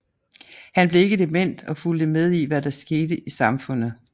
Han blev ikke dement og fulgte med i hvad der skete i samfundet